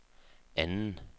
anden